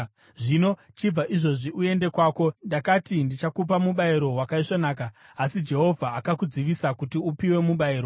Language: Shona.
Zvino chibva izvozvi uende kwako! Ndakati ndichakupa mubayiro wakaisvonaka, asi Jehovha akudzivisa kuti upiwe mubayiro.”